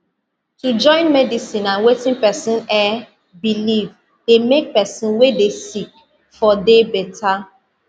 to join medicine and wetin pesin eh believe dey make pesin wey dey sick for dey better